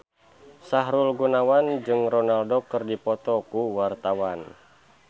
Sahrul Gunawan jeung Ronaldo keur dipoto ku wartawan